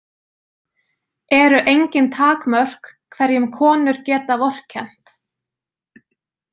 Eru engin takmörk hverjum konur geta vorkennt?